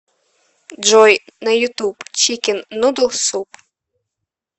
джой на ютуб чикен нудл суп